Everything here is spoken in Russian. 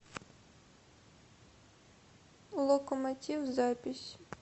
локомотив запись